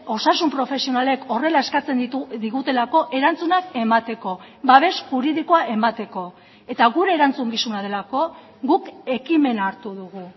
osasun profesionalek horrela eskatzen digutelako erantzunak emateko babes juridikoa emateko eta gure erantzukizuna delako guk ekimena hartu dugu